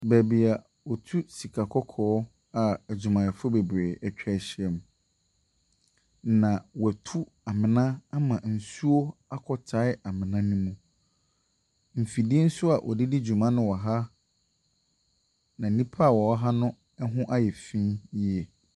Baabi a wɔtu sika kɔkɔɔ a adwumayɛfoɔ bebree atwa ahyiam, na wɔatu amena ama nsuo akɔtae amena no mu. Mfidie nso a wɔde di dwuma no wɔ ha, na nnipa a wɔwɔ ha no ho ayɛ fi yie.